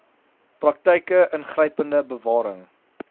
praktyke ingrypende bewaring